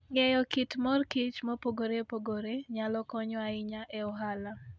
Ng'eyo kit mor kich mopogore opogore nyalo konyo ahinya e ohala.